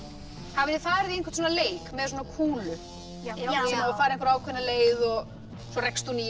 hafið þið farið í einhvern svona leik með svona kúlu já fara einhverja ákveðna leið svo rekst hún í